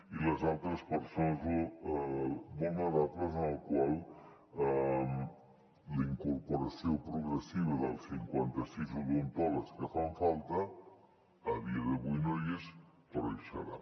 i les altres persones vulnerables per als quals la incorporació progressiva dels cinquanta sis odontòlegs que fan falta a dia d’avui no hi és però hi serà